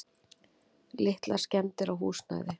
Litlar skemmdir á húsnæði.